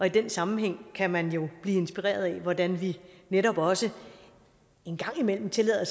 i den sammenhæng kan man jo blive inspireret af hvordan vi netop også en gang imellem tillader